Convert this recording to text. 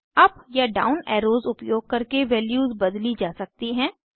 up या down arrows उपयोग करके वैल्यूज बदली जा सकती हैं